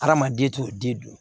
Hadamaden t'o den dun